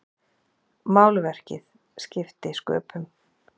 Málverkið skipti sköpum.